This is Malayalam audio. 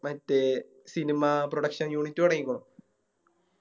മറ്റേ Cinema production unit തൊടങ്ങിക്കുണു